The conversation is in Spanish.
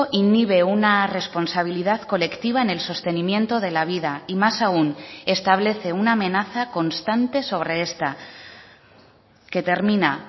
inhibe una responsabilidad colectiva en el sostenimiento de la vida y más aún establece una amenaza constante sobre esta que termina